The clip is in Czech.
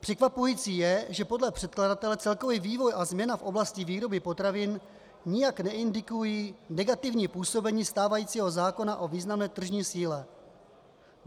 Překvapující je, že podle předkladatele celkový vývoj a změna v oblasti výroby potravin nijak neindikují negativní působení stávajícího zákona o významné tržní síle.